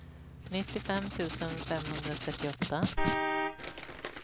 nittiofem tusen femhundratrettioåtta